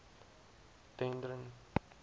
dendron